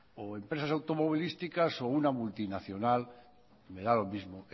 o empresas automovilísticas o una multinacional me da lo mismo